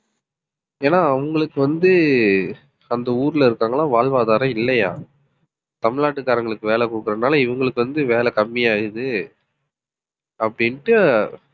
ஏன்னா அவங்களுக்கு வந்து அந்த ஊர்ல இருக்காங்களா வாழ்வாதாரம் இல்லையாம் தமிழ்நாட்டுக்காரங்களுக்கு வேலை குடுக்கறதுனால இவங்களுக்கு வந்து வேலை கம்மியா ஆகுது அப்படின்ட்டு